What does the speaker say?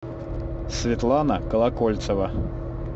светлана колокольцева